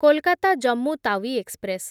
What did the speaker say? Kolkata Jammu Tawi express